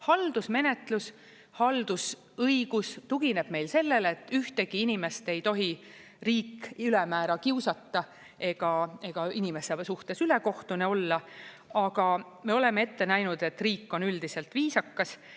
Haldusmenetlus, haldusõigus tugineb meil sellele, et ühtegi inimest ei tohi riik ülemäära kiusata ega inimese suhtes ülekohtune olla, aga me oleme ette näinud, et riik on üldiselt viisakas.